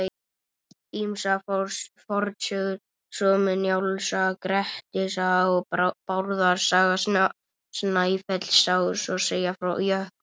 Ýmsar fornsögur svo sem Njáls saga, Grettis saga og Bárðar saga Snæfellsáss segja frá jöklum.